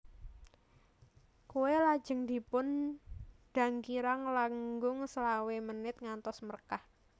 Kue lajeng dipun dang kirang langung selawe menit ngantos mrekah